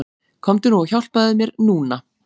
Komdu nú og hjálpaðu mér NÚNA!